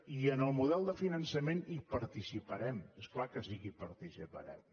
i en el model de finançament hi participarem és clar que sí que hi participarem